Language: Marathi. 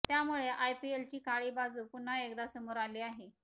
त्यामुळे आयपीएलची काळी बाजू पुन्हा एकदा समोर आली आहे